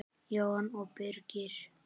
Jóhanna og Birgir.